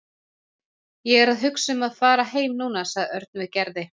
Ég er að hugsa um að fara heim núna sagði Örn við Gerði.